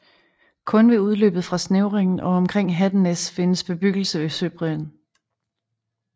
Kun ved udløbet fra snævringen og omkring Hattenæs findes bebyggelse ved søbredden